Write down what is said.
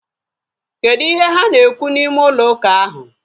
Kedụ ihe ha na-ekwu n'ime ụlọ ụka ahu?